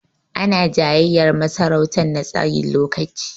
Ana jayayyar masarautan na tsayin lokaci.